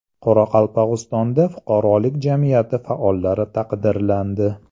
Qoraqalpog‘istonda fuqarolik jamiyati faollari taqdirlandi.